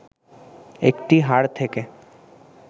একটি হাড় থেকে